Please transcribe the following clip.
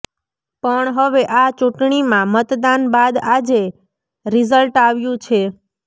પણ હવે આ ચૂંટણીમાં મતદાન બાદ આજે રીઝલ્ટ આવ્યું છે